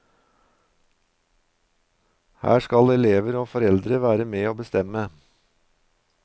Her skal elever og foreldre være med å bestemme.